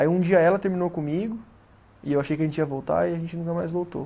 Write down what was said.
Aí um dia ela terminou comigo e eu achei que a gente ia voltar e a gente nunca mais voltou.